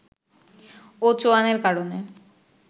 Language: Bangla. ও চোয়ানের কারণে